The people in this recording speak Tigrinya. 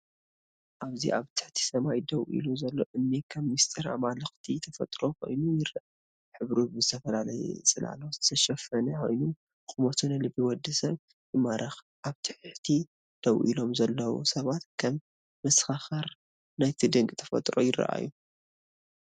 ኣብዚ ኣብ ትሕቲ ሰማይ ደው ኢሉ ዘሎ እምኒ ከም ምስጢር ኣማልኽቲ ተፈጥሮ ኮይኑ ይረአ። ሕብሩ ብዝተፈላለየ ጽላሎት ዝተሸፈነ ኮይኑ፡ ቁመቱ ንልቢ ወዲ ሰብ ይማርኽ። ኣብ ታሕቲ ደው ኢሎም ዘለዉ ሰባት ከም መሰኻኽር ናይቲ ድንቂ ተፈጥሮ ይረኣዩ።